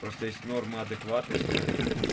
просто есть норма адекватности